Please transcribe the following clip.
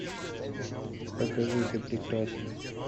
покажи ты прекрасен